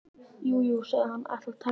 Jú, jú, hann sagðist ætla að temja hann.